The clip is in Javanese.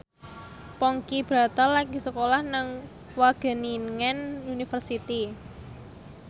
Ponky Brata lagi sekolah nang Wageningen University